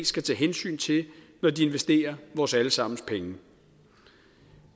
skal tage hensyn til når de investerer vores alle sammens penge